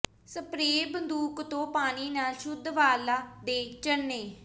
spray ਬੰਦੂਕ ਤੋਂ ਪਾਣੀ ਨਾਲ ਸ਼ੁੱਧ ਵਾਲਾਂ ਦੇ ਝਰਨੇ